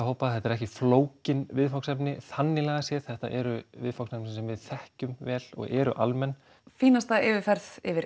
hópa þetta eru ekki flókin viðfangsefni þannig lagað séð þetta eru viðfangsefni sem við þekkjum vel og eru almenn fínasta yfirferð yfir